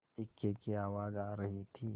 इक्के की आवाज आ रही थी